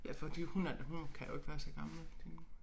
Ja fordi hun er da hun kan jo ikke være så gammel tænker